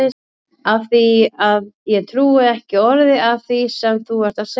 Af því að ég trúi ekki orði af því sem þú ert að segja.